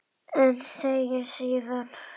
En segir síðan